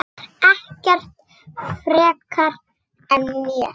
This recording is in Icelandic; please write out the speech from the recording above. Ekkert frekar en mér.